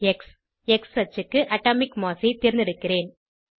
X X அச்சுக்கு atomic mass ஐ தேர்ந்தெடுக்கிறேன்